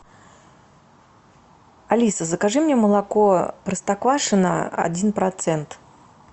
алиса закажи мне молоко простоквашино один процент